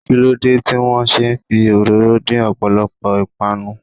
Kí ló dé tí wọ́n ṣe ń fi òróró dín ọ̀pọ̀lọpọ̀ ìpànu?